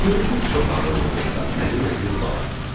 Görünür, çox ağıllı qızsan, mənim əziz balam.